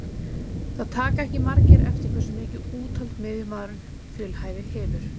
Það taka ekki margir eftir hversu mikið úthald miðjumaðurinn fjölhæfi hefur.